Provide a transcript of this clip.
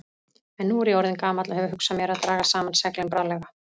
En nú er ég orðinn gamall og hef hugsað mér að draga saman seglin bráðlega.